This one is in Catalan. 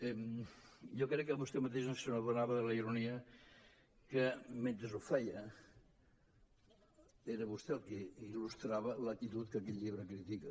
jo crec que vostè mateix no s’adonava de la ironia que mentre ho feia era vostè el que il·lustrava l’actitud que aquest llibre critica